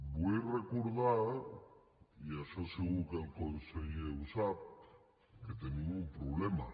vull recordar i això segur que el conseller ho sap que tenim un problema